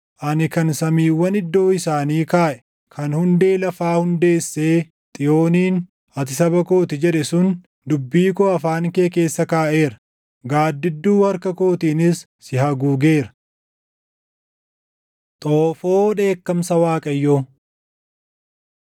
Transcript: Ani kan samiiwwan iddoo isaanii kaaʼe, kan hundee lafaa hundeessee Xiyooniin, ‘Ati saba koo ti’ jedhe sun, dubbii koo afaan kee keessa kaaʼeera; gaaddidduu harka kootiinis si haguugeera.” Xoofoo Dheekkamsa Waaqayyoo